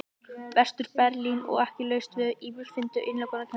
Vestur-Berlín og ekki laust við að ýmsir fyndu til innilokunarkenndar þegar svo stóð á.